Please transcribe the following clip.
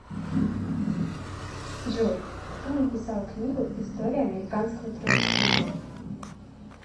джой кто написал книгу история американского троцкизма